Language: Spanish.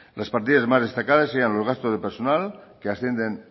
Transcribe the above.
las partidas más destacadas serían los gastos de personal que ascienden